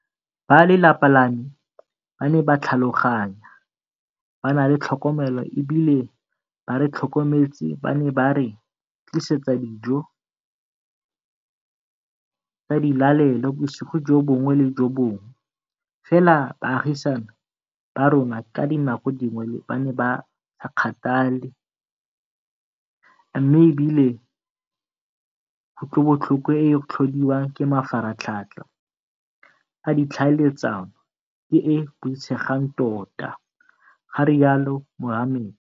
Ba lelapa la me ba ne ba tlhaloganya, ba na le tlhokomelo e bile ba re tlhokometse, ba ne ba re tlisetsa dijo tsa dilalelo bosigo jo bongwe le jo bongwe, fela baagisani ba rona ka dinako dingwe ba ne ba sa kgathale mme e bile kutlobotlhoko e e tlhodiwang ke mafaratlhatlha a ditlhaeletsano ke e e boitshegang tota, ga rialo Mohammed.